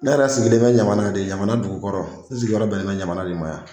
Ne yɛrɛ sigilen bɛ ɲamana de ɲamana dugukɔrɔ n sigiyɔrɔ bɛnnen don ɲamana de ma